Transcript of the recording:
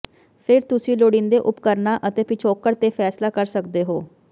ਫਿਰ ਤੁਸੀਂ ਲੋੜੀਂਦੇ ਉਪਕਰਣਾਂ ਅਤੇ ਪਿਛੋਕੜ ਤੇ ਫੈਸਲਾ ਕਰ ਸਕਦੇ ਹੋ